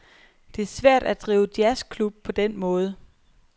Det er svært at drive jazzklub på den måde.